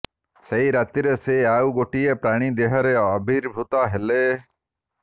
ସେଇ ରାତିରେ ସେ ଆଉ ଗୋଟିଏ ପ୍ରାଣି ଦେହରେ ଆବିର୍ଭୂତା ହେଲେ